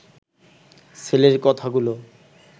ছেলের কথাগুলো